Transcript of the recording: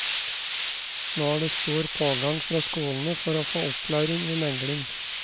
Nå er det stor pågang fra skolene for å få opplæring i megling.